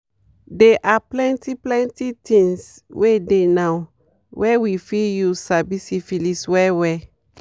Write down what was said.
they are plenty plenty things wey dey now were we fit use sabi syphilis well well